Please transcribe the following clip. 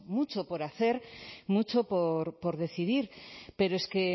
mucho por hacer mucho por decidir pero es que